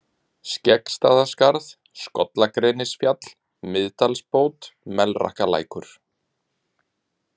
Skeggstaðaskarð, Skollagrenisfjall, Miðdalsbót, Melrakkalækur